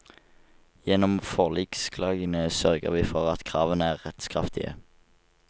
Gjennom forliksklagene sørger vi for at kravene er rettskraftige.